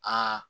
Aa